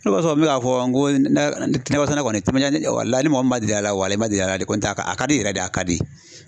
O de kosɔn n mi k'a fɔ, n ko nɔkɔ sɛnɛ kɔni walayi ni mɔgɔ ma deli a la walayi i ma deli ala de n tɛ kɔni a ka di yɛrɛ de a ka di.